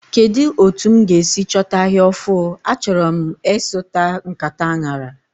Kedu otu m ga-esi chọta ahịa ofu. achọrọ m e suta nkata anara.